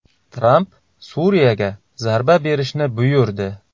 Tramp Suriyaga zarba berishni buyurdi.